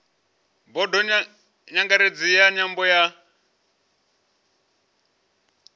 bodo nyangaredzi ya nyambo ya